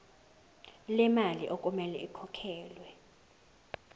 lemali okumele ikhokhelwe